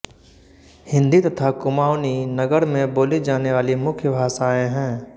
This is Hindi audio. हिन्दी तथा कुमाऊँनी नगर में बोली जाने वाली मुख्य भाषायें हैं